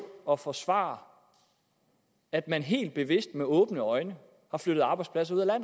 og forsvare at man helt bevidst og med åbne øjne har flyttet arbejdspladser ud af